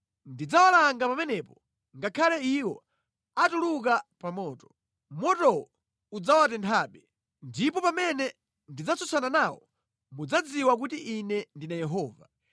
Ndidzawalanga pamenepo ngakhale iwo atuluka pa moto, motowo udzawatenthabe. Ndipo pamene ndidzatsutsana nawo, mudzadziwa kuti Ine ndine Yehova.